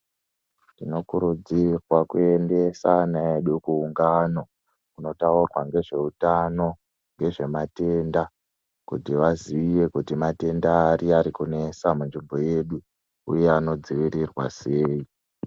Tinokurudzirwa kuendesa ana edu kuungano inotaurwa ngezveutano nezve matenda kuti vazive kuti matenda aya ariyo arikunesa munzvimbo yedu uye anodzivirirwa sei